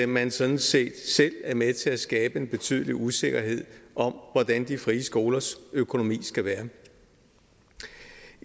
man sådan set selv er med til at skabe en betydelig usikkerhed om hvordan de frie skolers økonomi skal være